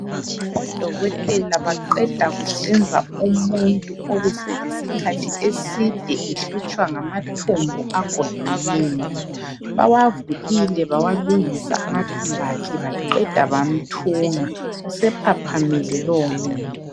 Odokotela baqeda ukuhlinza umuntu obeselesikhathi eside ehlutshwa ngamathumbu agoqeneyo. Bawavulile bawalungisa amathumbu akhe baqeda bamthunga usephaphamile lowomuntu.